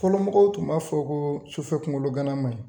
Fɔlɔmɔgɔw tun b'a fɔ koo sufɛ kunkologana manɲi